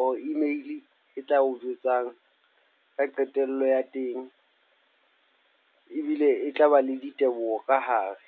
or email e tla o jwetsang ka qetello ya teng. Ebile e tlaba le diteboho ka hare.